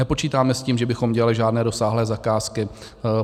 Nepočítáme s tím, že bychom dělali žádné rozsáhlé zakázky.